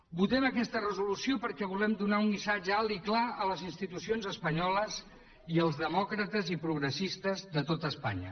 votem aquesta resolució perquè volem donar un missatge alt i clar a les institucions espanyoles i als demòcrates i progressistes de tot espanya